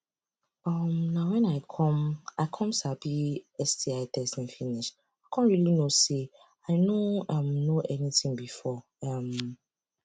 um na when i come i come sabi sti testing finish i come really know say i no um know anything before um